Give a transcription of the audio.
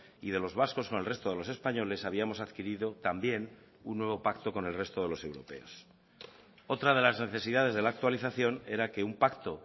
y de los vascos con el resto de los españoles habíamos adquirido también un nuevo pacto con el resto de los europeos otra de las necesidades de la actualización era que un pacto